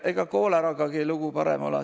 Ega kooleragagi lugu parem ole.